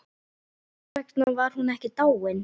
Hvers vegna var hún ekki dáin?